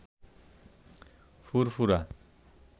ফুরফুরা